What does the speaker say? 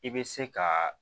I bɛ se ka